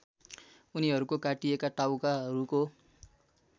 उनीहरूको काटिएका टाउकाहरूको